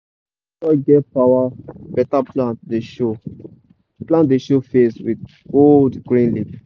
na where soil get power beta plant dey show plant dey show face with bold green leaf.